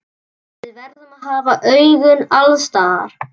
Við verðum að hafa augun alls staðar.